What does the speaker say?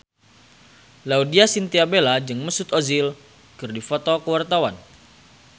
Laudya Chintya Bella jeung Mesut Ozil keur dipoto ku wartawan